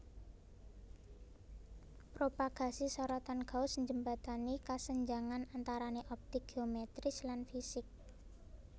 Propagasi sorotan Gauss njembatani kasenjangan antarané optik géometris lan fisik